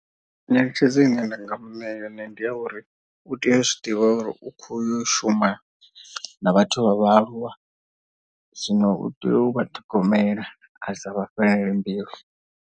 Nyeletshedzo ine nda nga muṋea yone ndi ya uri u tea u zwi ḓivha uri u kho yo shuma na vhathu vha vhaaluwa. Zwino u tea u vha ṱhogomela a sa vha fhelele mbilu.